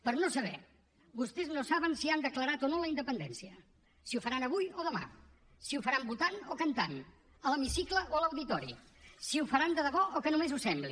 per no saber vostès no saben si han declarat o no la independència si ho faran avui o demà si ho faran votant o cantant a l’hemicicle o a l’auditori si ho faran de debò o que només ho sembli